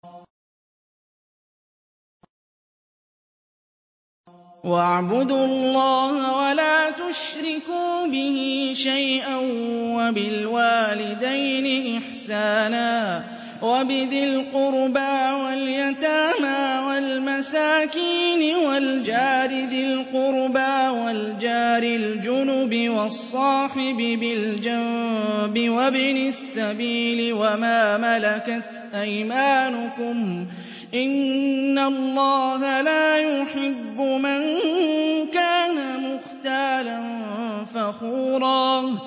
۞ وَاعْبُدُوا اللَّهَ وَلَا تُشْرِكُوا بِهِ شَيْئًا ۖ وَبِالْوَالِدَيْنِ إِحْسَانًا وَبِذِي الْقُرْبَىٰ وَالْيَتَامَىٰ وَالْمَسَاكِينِ وَالْجَارِ ذِي الْقُرْبَىٰ وَالْجَارِ الْجُنُبِ وَالصَّاحِبِ بِالْجَنبِ وَابْنِ السَّبِيلِ وَمَا مَلَكَتْ أَيْمَانُكُمْ ۗ إِنَّ اللَّهَ لَا يُحِبُّ مَن كَانَ مُخْتَالًا فَخُورًا